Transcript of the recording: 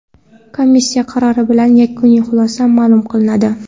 Komissiya qarori bilan yakuniy xulosa ma’lum qilinadi.